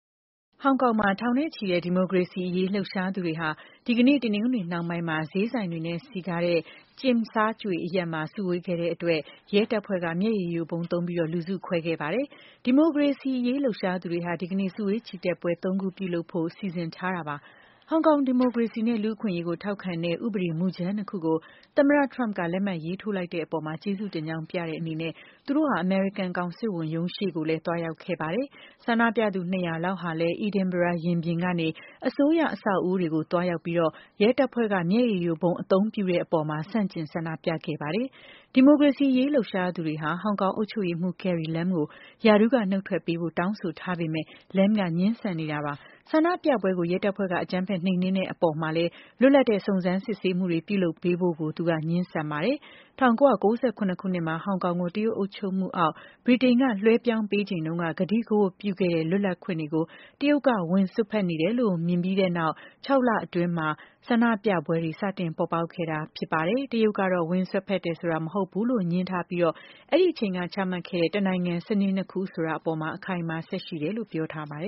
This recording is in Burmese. ဟောင်ကောင်မှာ ထောင်နဲ့ချီတဲ့ ဒီမိုကရေစီရေး လှုပ်ရှားသူတွေဟာ ဒီကနေ့ တနင်္ဂနွေနှောင်းပိုင်းမှာ ဈေးဆိုင်တွေနဲ့ စည်ကားတဲ့ Tsim Tsa Tsui အရပ်မှာ စုဝေးခဲ့ကြတဲ့အတွက် ရဲတပ်ဖွဲ့က မျက်ရည်ယိုဗုံးသုံး လူစုခွဲခဲ့ပါတယ်။ ဒီမိုကရေစီရေး လှုပ်ရှားသူတွေက ဒီကနေ့ စုဝေးချီတက်ပွဲ ၃ ခုပြုလုပ်ဖို့ စီစဉ်ထားတာပါ။ ဟောင်ကောင် ဒီမိုကရေစီနဲ့ လူ့အခွင့်အရေး ထောက်ခံတဲ့ ဥပဒေမူကြမ်း ၂ ခုကို သမ္မတ Trump က လက်မှတ်ရေးထိုးလိုက်တဲ့အပေါ် ကျေးဇူးတင်ကြောင်း ပြသတဲ့အနေနဲ့ သူတို့ဟာ အမေရိကန် ကောင်စစ်ဝန်ရုံးရှေ့ကိုလည်း သွားရောက်ခဲ့ပါတယ်။ ဆန္ဒပြသူ ၂၀၀ လောက်ဟာလည်း Edinburgh ရင်ပြင်ကနေ အစိုးရရုံး အဆောက်အဦတွေကို သွားရောက်ပြီး ရဲတပ်ဖွဲ့က မျက်ရည်ယိုဗုံး အသုံးပြုတဲ့အပေါ် ဆန့်ကျင် ဆန္ဒပြခဲ့ကြပါတယ်။ ဒီမိုကရေစီရေး လှုပ်ရှားသူတွေက ဟောင်ကောင်အုပ်ချုပ်ရေးမှူး Carrie Lam ကို ရာထူးက နုတ်ထွက်ပေးဖို့ တောင်းဆိုထားပေမယ့် Lam က ငြင်းဆန်နေတာပါ။ ဆန္ဒပြပွဲတွေကို ရဲတပ်ဖွဲ့က အကြမ်းဖက် နှိမ်နင်းခဲ့တဲ့အပေါ် လွတ်လပ်တဲ့ စုံစမ်းစစ်ဆေးမှုတွေ ပြုလုပ်ပေးဖို့ကိုလည်း သူက ငြင်းဆန်ပါတယ်။ ၁၉၉၇ ခုနှစ်မှာ ဟောင်ကောင်ကို တရုတ်အုပ်ချုပ်မှုအောက် ဗြိတိန်က လွှဲပြောင်းပေးချိန်တုန်းက ကတိကဝတ်ပြုခဲ့တဲ့ လွတ်လပ်ခွင့်တွေကို တရုတ်က ဝင်စွက်ဖက်နေပြီလို့ မြင်နေကြပြီး ပြီးခဲ့တဲ့ ၆ လအတွင်းကစပြီး ဆန္ဒပြပွဲတွေ ပေါ်ပေါက်ခဲ့တာ ဖြစ်ပါတယ်။ တရုတ်ကတော့ ဝင်စွက်ဖက်တယ်ဆိုတာ မဟုတ်ဘူးလို့ ငြင်းထားပြီး အဲဒီအချိန်က ချမှတ်ခဲ့တဲ့ တနိုင်ငံ စနစ်နှစ်ခုအပေါ် အခိုင်အမာ ဆက်ရှိတယ်လို့ ပြောထားပါတယ်